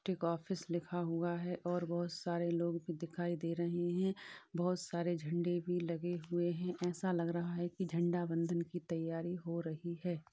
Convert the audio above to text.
District office लिखा हुआ है और बहुत सारे लोग भी दिखाई दे रहै हैं बहुत सारे झंडे भी लगे हुए हैं। ऐसा लग रहा है कि झंडा वंदन कि तैयारी हो रही है।